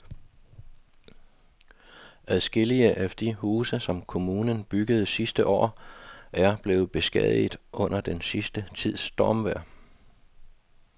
Adskillige af de huse, som kommunen byggede sidste år, er blevet beskadiget under den sidste tids stormvejr.